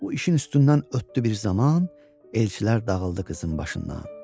Bu işin üstündən ötdü bir zaman, elçilər dağıldı qızın başından.